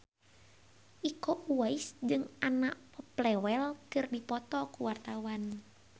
Iko Uwais jeung Anna Popplewell keur dipoto ku wartawan